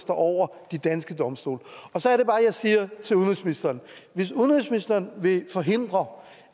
står over de danske domstole så er det bare jeg siger til udenrigsministeren hvis udenrigsministeren vil forhindre